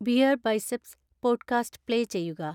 BeerBiceps podcast play ചെയ്യുക